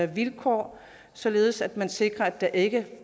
vilkår således at man sikrer at der ikke